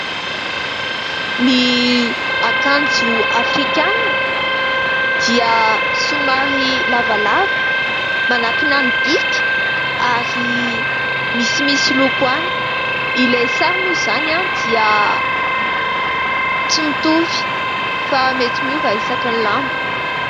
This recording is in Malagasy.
Ny akanjo afrikanina dia somary lavalava manankina ny bika ary misimisy loko ihany. Ilay sary moa izany dia tsy mitovy fa mety miova isaky ny lamba.